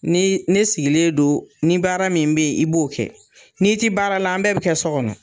Ni ne sigilen don ni baara min bɛ yen i b'o kɛ n'i tɛ baara la an bɛɛ bɛ kɛ so kɔnɔ